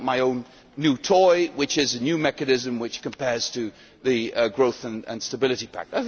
I want my own new toy, which is a new mechanism which compares to the growth and stability pact'.